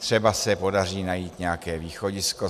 Třeba se podaří najít nějaké východisko.